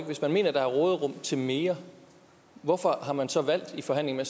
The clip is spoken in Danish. hvis man mener der er råderum til mere hvorfor har man så i forhandlingerne